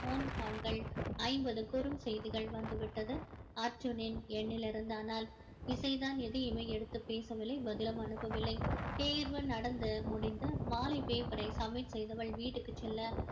phone call கள் ஐம்பது குறுஞ்செய்திகள் வந்துவிட்டது அர்ஜுனின் எண்ணிலிருந்து ஆனால் இசைதான் எதையுமே எடுத்து பேசவில்லை பதிலும் அனுப்பவில்லை தேர்வு நடந்து முடிந்து மாலை paper ரை submit செய்தவள் வீட்டுக்கு செல்ல